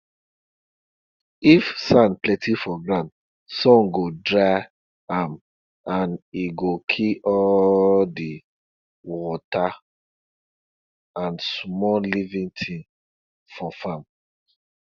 if sand plenti for ground sun go dry am and e go kill all di wata and small living tins for farm